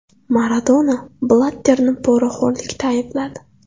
Maradona Blatterni poraxo‘rlikda aybladi.